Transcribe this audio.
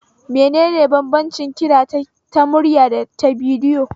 Menene banbancin kira ta murya da ta bidiyo?